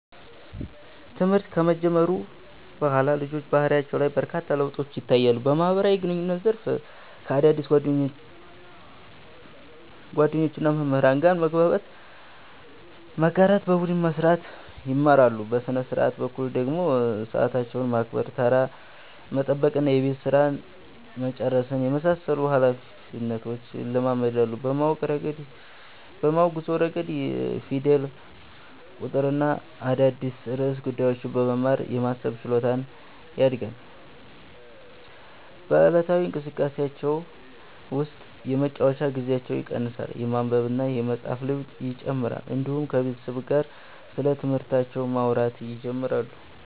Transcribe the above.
ትምህርት ከጀመሩ በኋላ ልጆች በባህሪያቸው ላይ በርካታ ለውጦች ይታያሉ። በማህበራዊ ግንኙነት ዘርፍ ከአዳዲስ ጓደኞችና መምህራን ጋር መግባባት፣ መጋራትና በቡድን መስራት ይማራሉ። በሥነ-ሥርዓት በኩል ደግሞ ሰዓታቸውን ማክበር፣ ተራ መጠበቅና የቤት ሥራ መጨረስን የመሳሰሉ ኃላፊነቶች ይለማመዳሉ። በማወቅ ጉዞ ረገድ ፊደል፣ ቁጥርና አዳዲስ ርዕሰ ጉዳዮችን በመማር የማሰብ ችሎታቸው ያድጋል። በዕለታዊ እንቅስቃሴዎቻቸው ውስጥ የመጫወቻ ጊዜያቸው ይቀንሳል፣ የማንበብና የመፃፍ ልምድ ይጨምራል፣ እንዲሁም ከቤተሰብ ጋር ስለትምህርታቸው ማውራት ይጀምራሉ።